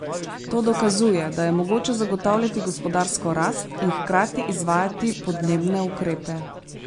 To dokazuje, da je mogoče zagotavljati gospodarsko rast in hkrati izvajati podnebne ukrepe.